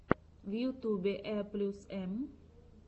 в ютюбе э плюс эм